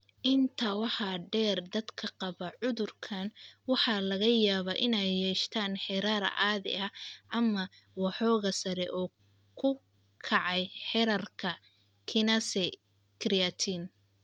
Intaa waxaa dheer, dadka qaba cudurkaan waxaa laga yaabaa inay yeeshaan heerar caadi ah ama waxoogaa sare u kacay heerarka kinase creatine.